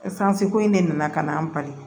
ko in de nana ka na an bali